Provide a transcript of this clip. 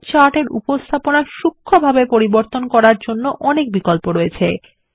এবং চার্টের উপস্থাপনা সুক্ষ্মভাবে পরিবর্তন করার অনেক বিকল্প আছে